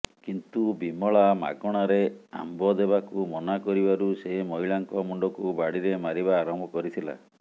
କିନ୍ତୁ ବିମଳା ମାଗଣାରେ ଆମ୍ବ ଦେବାକୁ ମନା କରିବାରୁ ସେ ମହିଳାଙ୍କ ମୁଣ୍ଡକୁ ବାଡିରେ ମାରିବା ଆରମ୍ଭ କରିଥିଲା